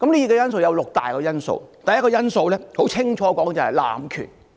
當中有六大元素：第一個元素清楚指明是濫權。